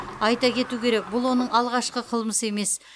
айта кету керек бұл оның алғашқы қылмысы емес